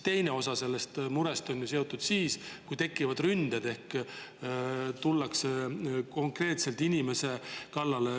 Osa sellest murest on ju seotud sellega, kui tekivad ründed ehk koer läheb konkreetselt inimesele kallale.